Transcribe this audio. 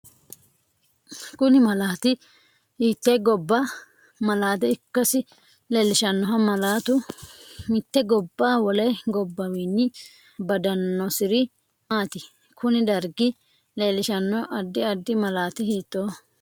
Kini malaati hiite gabba malaate ikkasi leeliahanno malaatu mite gobba wole gabbawiini badanosiri maati kuni darggi leelishano addi addi malati hiitooho